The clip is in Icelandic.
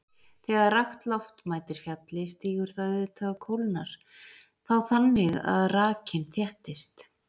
Þegar rakt loft mætir fjalli stígur það auðvitað og kólnar þá þannig að rakinn þéttist.